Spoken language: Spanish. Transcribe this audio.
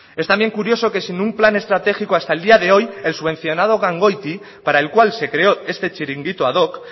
es también curioso que sin un plan estratégico hasta el día de hoy el subvencionado gangoiti para el cual se creó este chiringuito ad hoc